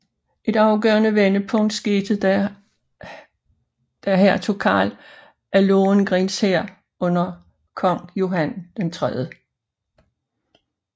Et afgørende vendepunkt skete da Hertug Karl af Lothringens hær under kong Johan 3